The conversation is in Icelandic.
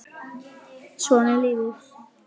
Svona er lífið.